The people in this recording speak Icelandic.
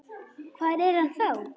Hvar er hann þá?